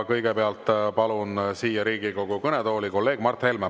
Kõigepealt palun siia Riigikogu kõnetooli kolleeg Mart Helme.